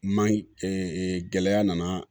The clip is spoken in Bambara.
Man ɲi gɛlɛya nana